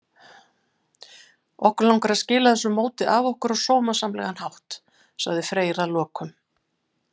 Okkur langar að skila þessu móti af okkur á sómasamlegan hátt, sagði Freyr að lokum.